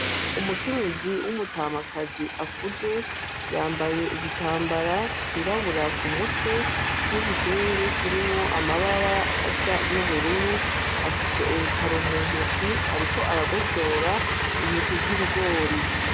Umukenyezi w’umutamakazi akuze yambaye igitambara cirabura ku mutwe , n’igitenge kirimwo amabara asa n’ubururu , afise urutaro mu ntoke ariko aragosora intete z’ibigori.